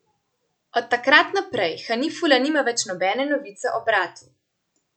Od takrat naprej Hanifula nima več nobene novice o bratu.